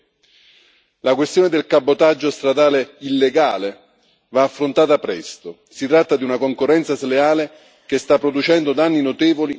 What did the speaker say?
La questione del cabotaggio stradale illegale va affrontata presto, si tratta di una concorrenza sleale che sta producendo danni notevoli nell'Unione.